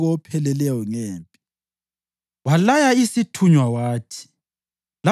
UJowabi wathumela uDavida umbiko opheleleyo ngempi.